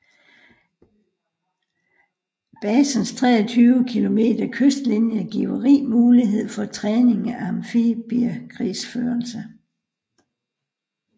Basens 23 km kystlinje giver rig mulighed for træning af amfibiekrigsførelse